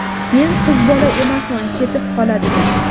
Men qiz bola emasman ketib qoladigan.